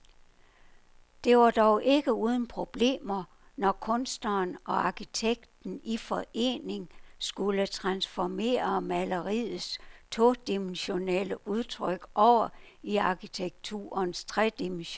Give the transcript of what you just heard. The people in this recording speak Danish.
Det var dog ikke uden problemer, når kunstneren og arkitekten i forening skulle transformere maleriets todimensionelle udtryk over i arkitekturens tredimensionelle rumlighed.